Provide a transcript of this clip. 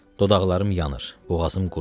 Dodaqlarım yanır, boğazım quruyur.